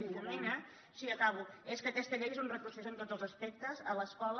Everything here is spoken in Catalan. difumina sí acabo és que aquesta llei és un retrocés en tots els aspectes a l’escola